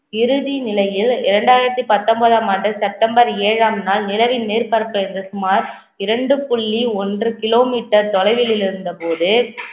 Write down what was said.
இறுதி நிலையில் இரண்டாயிரத்தி பத்தொன்பதாம் ஆண்டு செப்டம்பர் ஏழாம் நாள் நிலவின் மேற்பரப்பில் இருந்த சுமார் இரண்டு புள்ளி ஒன்று kilometer தொலைவிலிருந்தபோது